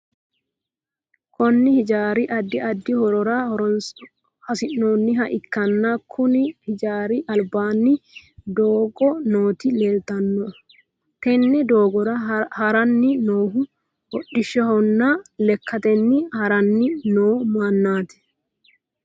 Kunni hijaari addi addi horora hosanoha ikanna konni hijaari albaanni doogo nooti leeltano tenne doogora haranni noohu hodhishahonna lekatenni haranni noo manaati.